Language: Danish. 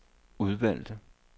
udvalgte